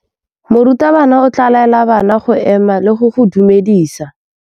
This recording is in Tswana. Morutabana o tla laela bana go ema le go go dumedisa.